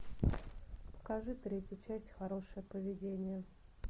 покажи третью часть хорошее поведение